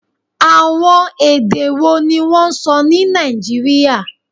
Awọn ede wo ni wọn sọ ni Naijiria?